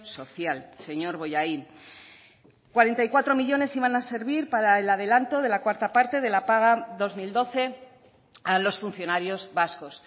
social señor bollain cuarenta y cuatro millónes iban a servir para el adelanto de la cuarta parte de la paga dos mil doce a los funcionarios vascos